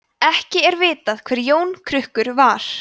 ekki er vitað hver jón krukkur var